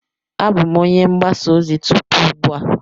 Abụ m onye mgbasa ozi tupu ugbu a.